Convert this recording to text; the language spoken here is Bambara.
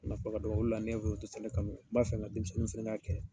Marifa ka dɔgɔ ola ne bolo n dɛsɛra ka min n b'a fɛ nka denmisɛnniw fɛnɛ ka kɛ